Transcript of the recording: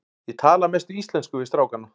Ég tala að mestu íslensku við strákana.